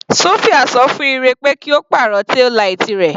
Sofia ṣọ fún Ire pé kí Ó pàrọ̀ taillight rẹ̀.